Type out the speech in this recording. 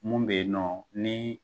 Mun bɛ yen nɔ ni.